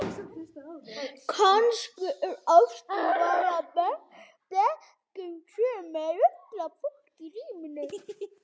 Kannski er ástin bara blekking sem ruglar fólk í ríminu.